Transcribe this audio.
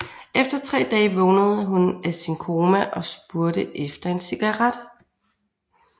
Efter tre dage vågnede hun af sin koma og spurgte efter en cigaret